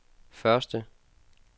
første